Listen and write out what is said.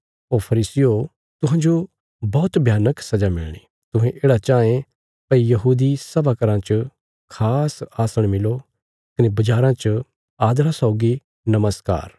ओ फरीसियो तुहांजो बौहत भयानक सजा मिलणी तुहें येढ़ा चाँये भई यहूदी सभा घराँ च खास आसण मिलो कने बज़ाराँ च आदरा सौगी नमस्कार